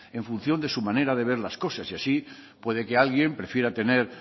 en función de su manera de ver las cosas y así puede que alguien prefiera tener